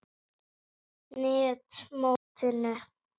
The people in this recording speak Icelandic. net mótinu?